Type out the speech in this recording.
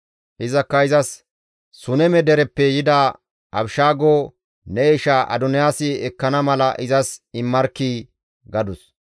Izakka izas, «Suneme dereppe yida Abishaago ne isha Adoniyaasi ekkana mala izas immarkkii!» gadus.